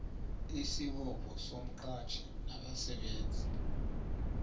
isibopho somqatjhi nabasebenzi